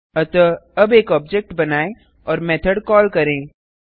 अतः अब एक ऑब्जेक्ट बनाएँ और मेथड कॉल करें